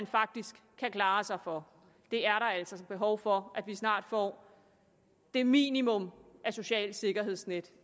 faktisk kan klare sig for der er altså behov for at vi snart får det minimum af socialt sikkerhedsnet